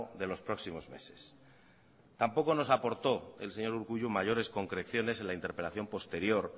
de los próximos meses tampoco nos aportó el señor urkullu mayores concreciones en la interpelación posterior